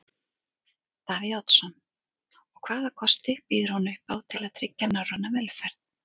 Davíð Oddsson: Og hvaða kosti býður hún upp á til að tryggja norræna velferð?